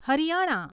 Haryana